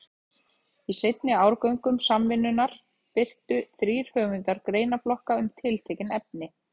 Í seinni árgöngum Samvinnunnar birtu þrír höfundar greinaflokka um tiltekin efni.